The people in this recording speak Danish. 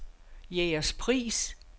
Jægerspris